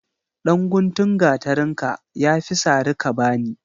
Dan guntun gatarinka yafi sari kabani.